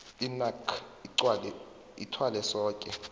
inac ithwale soke